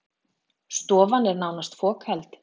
Stofan er nánast fokheld